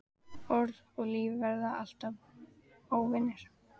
Orð og líf verða alltaf óvinir.